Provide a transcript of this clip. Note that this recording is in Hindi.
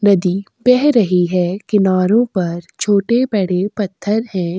नदी बह रही है किनारों पर छोटे-बड़े पत्थर हैं।